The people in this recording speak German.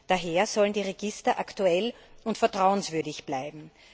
Daher sollen die Register aktuell und vertrauenswürdig bleiben.